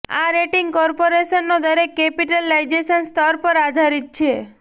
આ રેટિંગ કોર્પોરેશનો દરેક કેપિટલાઈઝેશન સ્તર પર આધારિત છે